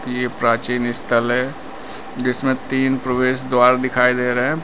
ये प्राचीन स्थल है जिसमें तीन प्रवेश द्वार दिखाई दे रहे हैं।